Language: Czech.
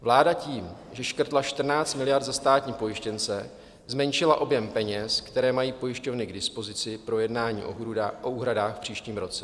Vláda tím, že škrtla 14 miliard za státní pojištěnce, zmenšila objem peněz, které mají pojišťovny k dispozici pro jednání o úhradách v příštím roce.